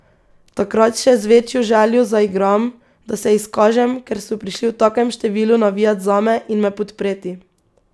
Takrat še z večjo željo zaigram, da se izkažem, ker so prišli v takem številu navijat zame in me podpreti.